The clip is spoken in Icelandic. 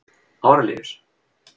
Árelíus